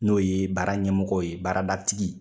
N'o ye baara ɲɛmɔgɔw ye baarada tigi.